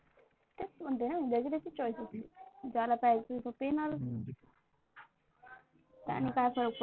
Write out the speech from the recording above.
तेच म्हणते ना ज्याची त्याची Choice आहे. ज्याला प्यायचं तो पिणार त्यांनी काय फरक पडते.